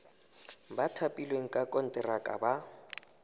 ba thapilweng ka konteraka ba